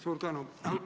Suur tänu!